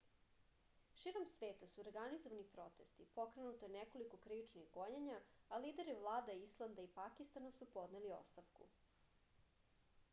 širom sveta su organizovani protesti pokrenuto je nekoliko krivičnih gonjenja a lideri vlada islanda i pakistana su podneli ostavku